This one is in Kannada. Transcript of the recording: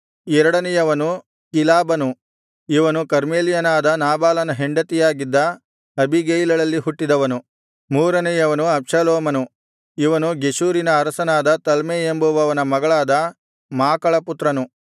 ಎರಡನೆಯವನು ಕಿಲಾಬನು ಇವನು ಕರ್ಮೆಲ್ಯನಾದ ನಾಬಾಲನ ಹೆಂಡತಿಯಾಗಿದ್ದ ಅಬೀಗೈಲಳಲ್ಲಿ ಹುಟ್ಟಿದವನು ಮೂರನೆಯವನು ಅಬ್ಷಾಲೋಮನು ಇವನು ಗೆಷೂರಿನ ಅರಸನಾದ ತಲ್ಮೈ ಎಂಬುವನ ಮಗಳಾದ ಮಾಕಳ ಪುತ್ರನು